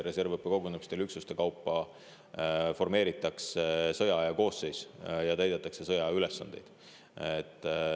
Reservõppekogunemistel formeeritakse üksuste kaupa sõjaaja koosseis ja täidetakse sõjaülesandeid.